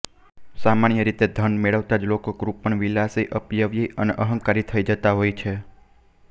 સામાન્ય રીતે ધન મેળવતાં જ લોકો કૃપણ વિલાસી અપવ્યયી અને અહંકારી થઇ જતા હોય છે